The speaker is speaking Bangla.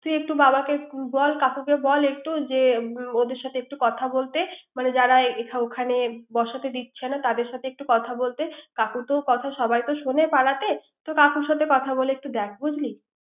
তুই একটু বাবাকে বল, কাকুকে বল একটু যে ওদের সাথে একটু কথা বলতে। মানে যারা ওখানে বসাতে দিচ্ছে না। তাদের সাথে কথা বলতে। কাকুর কথা সবাই শোনে পাড়াতে।